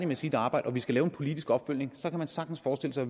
med sit arbejde og vi skal lave en politisk opfølgning kan man sagtens forestille sig